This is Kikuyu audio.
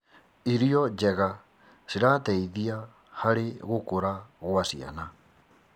Irio njega cirateithia harĩ gũkũra gwa ciana.